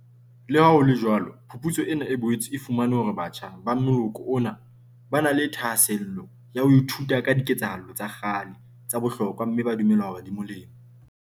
Leha ho le jwalo phuputso ena e boetse e fumane hore batjha ba moloko ona ba na le thahasello ya ho ithuta ka diketsahalo tsa kgale tsa bohlokwa mme ba dumela hore di molemo.